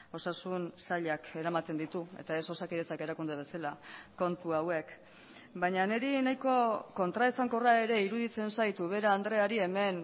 osasun sailak eramaten ditu eta ez osakidetzak erakunde bezala kontu hauek baina niri nahiko kontraesankorra ere iruditzen zait ubera andreari hemen